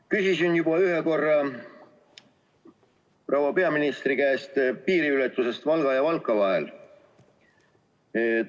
Küsisin juba ühe korra proua peaministri käest Valga ja Valka vahelise piiriületuse kohta.